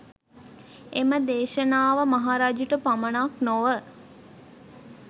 එම දේශනාව මහරජුට පමණක් නොව